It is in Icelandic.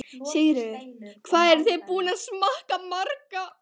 Sigríður: Hvað eruð þið búin að smakka marga?